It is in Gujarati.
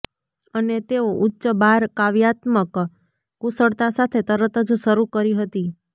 અને તેઓ ઉચ્ચ બાર કાવ્યાત્મક કુશળતા સાથે તરત જ શરૂ કરી હતી